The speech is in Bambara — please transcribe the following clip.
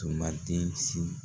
tun man den si